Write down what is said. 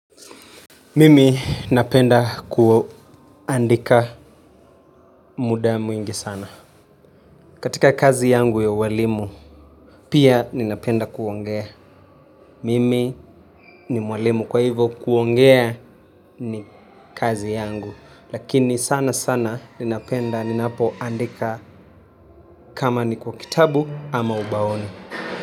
Mimi napenda kuandika muda mwingi sana. Katika kazi yangu ya ualimu, pia ninapenda kuongea. Mimi ni mwalimu kwa hivo kuongea ni kazi yangu. Lakini sana sana ninapenda ninapoandika. Kama ni kwa kitabu ama ubaoni.